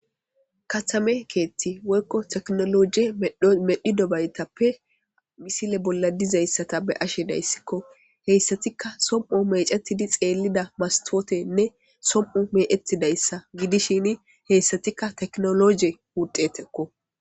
Katame keethati woykko teknologe medhi dobaytappe misile bolla dizayssata be ashe dayssikko heyssatikka som'o mecetidi xeellida mastotenne som'o meettidayssa gidishini heyssatikka teknologe wuxeteko.